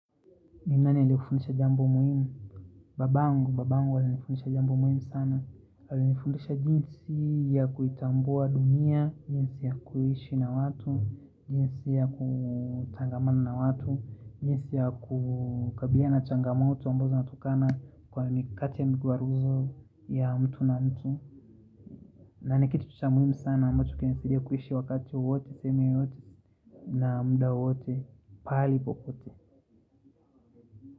Ni nani alikufundisha jambo muhimu Babangu, babangu alinifundisha jambo muhimu sana Hala nifundisha jinsi ya kuitambua dunia jinsi ya kuhishi na watu jinsi ya kutangamana na watu jinsi ya kukabilia na changamatu wa mbozo natukana Kwa mikati ya mguaruzo ya mtu na mtu na nikiti tucha muhimu sana ambacho kenesidia kuhishi wakati uote, seme uote na muda wowote, pali pokote.